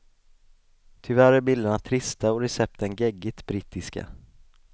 Tyvärr är bilderna trista och recepten geggigt brittiska.